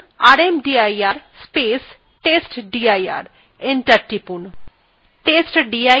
enter টিপুন